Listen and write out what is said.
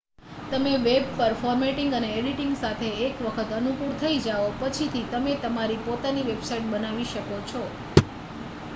તમે વેબ પર ફોર્મેટિંગ અને એડિટિંગ સાથે એક વખત અનુકૂળ થઈ જાઓ પછી થી તમે તમારી પોતાની વેબસાઇટ બનાવી શકો છો